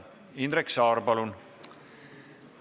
Indrek Saar, palun!